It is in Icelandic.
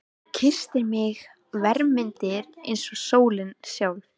Og þú kysstir mig og vermdir eins og sólin sjálf.